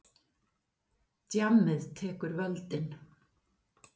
Djammið tekur völdin.